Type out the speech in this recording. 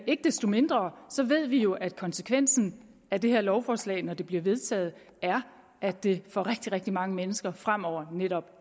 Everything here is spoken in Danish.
ikke desto mindre ved vi jo at konsekvensen af det her lovforslag når det bliver vedtaget er at det for rigtig rigtig mange mennesker fremover netop